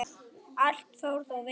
Allt fór þó vel.